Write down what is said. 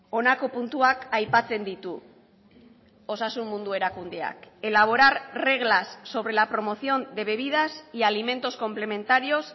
honako puntuak aipatzen ditu osasun mundu erakundeak elaborar reglas sobre la promoción de bebidas y alimentos complementarios